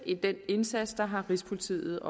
i den indsats har rigspolitiet